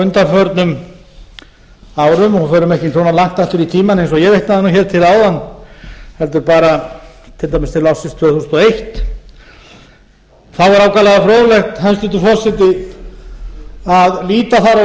undanförnum árum og förum ekki svona langt aftur í tímann eins og ég vitnaði til hér áðan heldur bara til ársins tvö þúsund og eitt þá er ákaflega fróðlegt hæstvirtur forseti að líta þar á